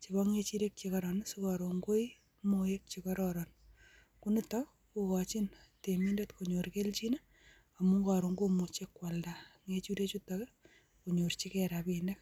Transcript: chebo ngechirek che koroon sikoroon koi moek chekororon. Konitook kokochin temindet kobyoor kelchin i amun koroon komychi koaldaa ngechirek chuton akonyorchigei rabinik.